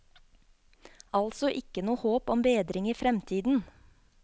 Altså ikke noe håp om bedring i fremtiden.